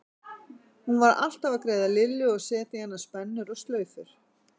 Hún var alltaf að greiða Lillu og setja í hana spennur og slaufur.